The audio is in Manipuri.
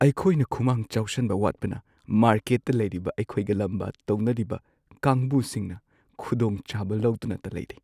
ꯑꯩꯈꯣꯏꯅ ꯈꯨꯃꯥꯡ ꯆꯥꯎꯁꯟꯕ ꯋꯥꯠꯄꯅ ꯃꯥꯔꯀꯦꯠꯇ ꯂꯩꯔꯤꯕ ꯑꯩꯈꯣꯏꯒ ꯂꯥꯝꯕ ꯇꯧꯅꯔꯤꯕ ꯀꯥꯡꯕꯨꯁꯤꯡꯅ ꯈꯨꯗꯣꯡꯆꯥꯕ ꯂꯧꯗꯨꯅꯇ ꯂꯩꯔꯦ ꯫